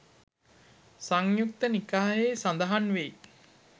සංයුක්ත නිකායෙහි සඳහන් වෙයි.